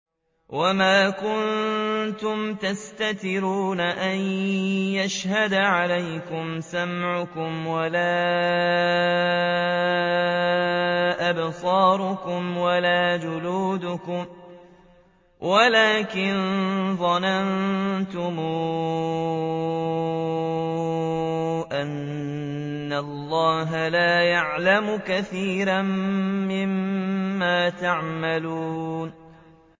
وَمَا كُنتُمْ تَسْتَتِرُونَ أَن يَشْهَدَ عَلَيْكُمْ سَمْعُكُمْ وَلَا أَبْصَارُكُمْ وَلَا جُلُودُكُمْ وَلَٰكِن ظَنَنتُمْ أَنَّ اللَّهَ لَا يَعْلَمُ كَثِيرًا مِّمَّا تَعْمَلُونَ